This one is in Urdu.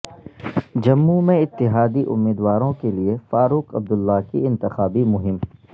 جموں میں اتحادی امیدواروں کیلئے فاروق عبداللہ کی انتخابی مہم